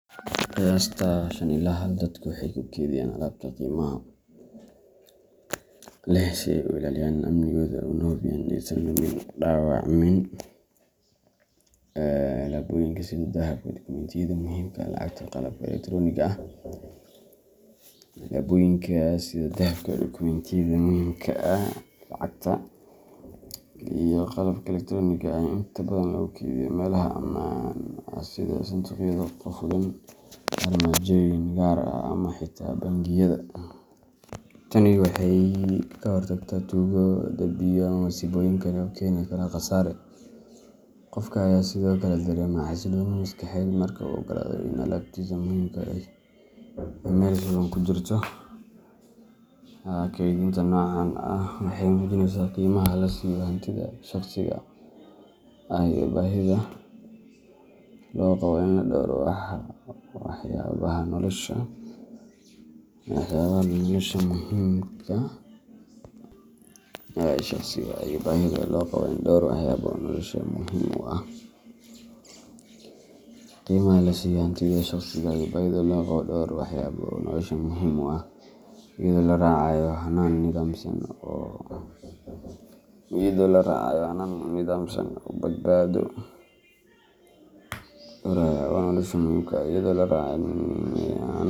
Qiyasta shan ila hal dadku waxay u keydiyaan alaabta qiimaha leh si ay u ilaaliyaan amnigeeda una hubiyaan in aysan lumin ama dhaawacmin. Alaabooyinka sida dahabka, dukumentiyada muhiimka ah, lacagta, iyo qalabka elektaroonigga ah ayaa inta badan lagu keydiyaa meelaha ammaan ah sida sanduuqyada qufulan, armaajooyin gaar ah, ama xitaa bangiyada. Tani waxay ka hortagtaa tuugo, dab, biyo, ama masiibooyin kale oo keeni kara khasaare. Qofka ayaa sidoo kale dareemaya xasillooni maskaxeed marka uu ogaado in alaabtiisa muhiimka ahi ay meel sugan ku jirto. Keydinta noocan ah waxay muujinaysaa qiimaha la siiyo hantida shaqsiga ah iyo baahida loo qabo in la dhowro waxyaabaha nolosha muhiimka u ah, iyadoo la raacayo hannaan nidaamsan.